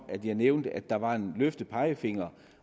jeg nævnte at der var en løftet pegefinger